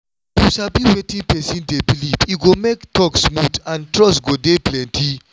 if you sabi wetin person dey believe e go make talk smooth and trust go dey plenty